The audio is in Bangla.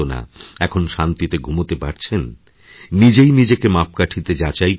এখন শান্তিতে ঘুমোতে পারছেন নিজেই নিজেকে মাপকাঠিতে যাচাই করুন